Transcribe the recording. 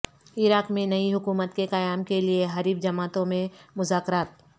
عراق میں نئی حکومت کے قیام کے لیے حریف جماعتوں میں مذاکرات